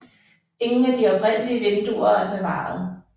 Ingen af de oprindelige vinduer er bevaret